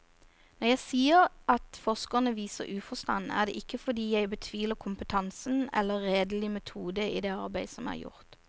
Når jeg sier at forskerne viser uforstand, er det ikke fordi jeg betviler kompetansen eller redelig metode i det arbeid som er gjort.